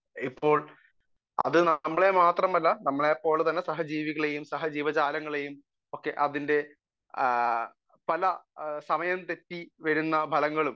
speaker 1 ഇപ്പോൾ അത് നമ്മളെ മാത്രമല്ല നമ്മളെപ്പോലെയുള്ള സഹ ജീവികളെയും സഹ ജീവജാലങ്ങളെയും അതിന്റെ പല സമയം തെറ്റി വരുന്ന